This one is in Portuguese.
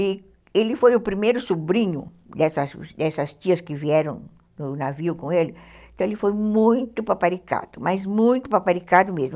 E ele foi o primeiro sobrinho dessas dessas tias que vieram no navio com ele, então ele foi muito paparicado, mas muito paparicado mesmo.